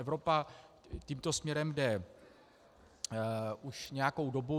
Evropa tímto směrem jde už nějakou dobu.